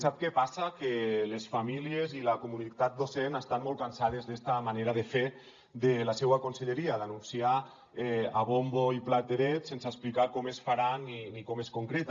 sap què passa que les famílies i la comunitat docent estan molt cansades de esta manera de fer de la seua conselleria d’anunciar a bombo i plateret sense explicar com es farà ni com es concreta